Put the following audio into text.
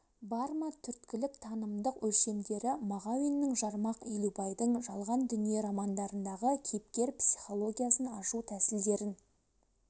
бар ма түрткілік-танымдық өлшем дері мағауиннің жармақ елубайдың жалған дүние романдарындағы кейіпкер психологясын ашу тәсілдерін